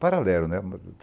Paralelo, né?